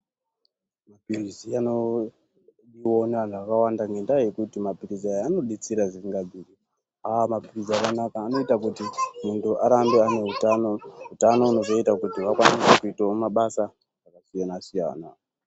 Mapirizi anodiwawo neantu akawanda ngendaa yekuti mapirizi aya anodetsera zvisingabviri, ah mapirizi akanaka anoita kuti muntu arambe ane utano, utano hunozoita kuti vakwanise kuitawo mabasa akasiyana siyana.